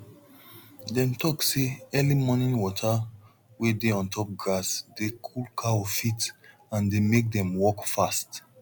dem talk say early morning water wey dey ontop grass dey cool cow feet and dey make dem walk fast